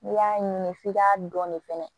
N'i y'a ɲini f'i k'a dɔni fɛnɛ